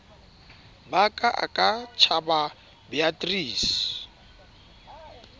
ba ka a ka tshababeatrice